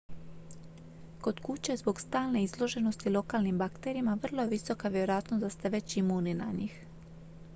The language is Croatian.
kod kuće zbog stalne izloženosti lokalnim bakterijama vrlo je visoka vjerojatnost da ste već imuni na njih